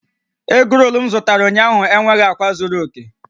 Egrol m zụtara ụnyaahụ enweghị akwa zuru oke